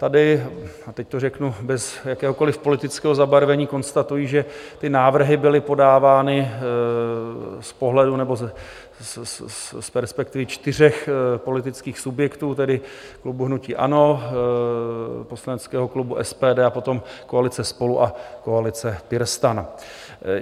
Tady, a teď to řeknu bez jakéhokoliv politického zabarvení, konstatuji, že ty návrhy byly podávány z pohledu nebo z perspektivy čtyřech politických subjektů, tedy klubu hnutí ANO, poslaneckého klubu SPD a potom koalice SPOLU a koalice PirSTAN.